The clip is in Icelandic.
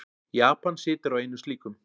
Japan situr á einum slíkum.